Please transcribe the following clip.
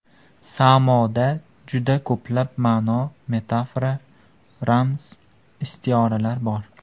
Samoda juda ko‘plab ma’no, metafora, ramz, istioralar bor.